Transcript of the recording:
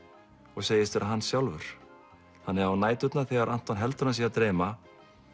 og segist vera hann sjálfur þannig á næturnar þegar Anton heldur að hann sé að dreyma